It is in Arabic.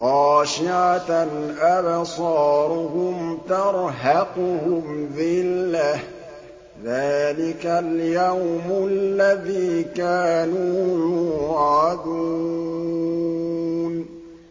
خَاشِعَةً أَبْصَارُهُمْ تَرْهَقُهُمْ ذِلَّةٌ ۚ ذَٰلِكَ الْيَوْمُ الَّذِي كَانُوا يُوعَدُونَ